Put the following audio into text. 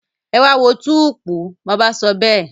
Ẹ wá a wo túùúpú! bàbá sọ bẹ́ẹ̀.